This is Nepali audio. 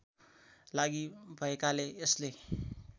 लागि भएकाले यसले